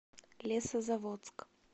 лесозаводск